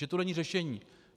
Že to není řešení.